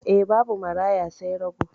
Eh, babu maraya sai rago.